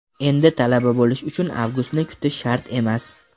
endi Talaba bo‘lish uchun Avgustni kutish shart emas!.